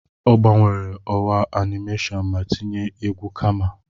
Ọ gbanwere ọwa animation ma tinye egwu kama.